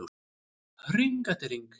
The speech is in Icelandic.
Hring eftir hring.